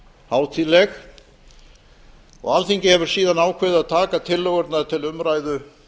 hátíðleg og alþingi hefur síðan ákveðið að taka tillögurnar til umræðu